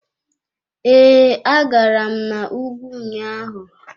Ee, agara m na ùgwù ụnyaahụ.